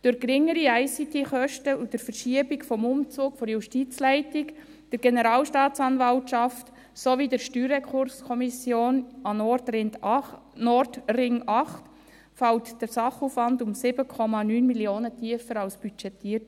Durch geringere ICT-Kosten und der Verschiebung des Umzugs der Justizleitung, der Generalstaatsanwaltschaft sowie der Steuerrekurskommission an den Nordring 8 fällt der Sachaufwand um 7,9 Mio. Franken tiefer aus als budgetiert.